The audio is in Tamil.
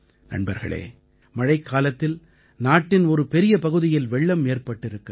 நண்பர்களே மழைக்காலத்தில் நாட்டின் ஒரு பெரிய பகுதியில் வெள்ளம் ஏற்பட்டிருக்கிறது